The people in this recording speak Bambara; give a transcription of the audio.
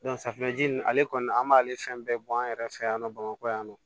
safunɛji nin ale kɔni an b'ale fɛn bɛɛ bɔ an yɛrɛ fɛ yan nɔ bamakɔ yan nɔ